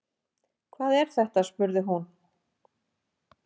Hvað er þetta spurði hún.